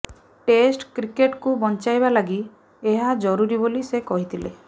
test କ୍ରିକେଟ୍କୁ ବଞ୍ଚାଇବା ଲାଗି ଏହା ଜରୁରି ବୋଲି ସେ କହିଥିଲେ